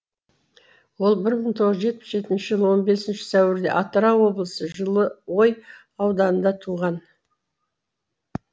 ол бір мың тоғыз жүз жетпіс жетінші жылы он бесінші сәуірде атырау облысы жылыой ауданында туған